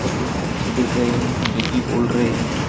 कुछ पंछी दिख रहे हैं जो कि उड़ रहे हैं।